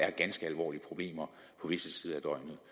er ganske alvorlige problemer på visse tider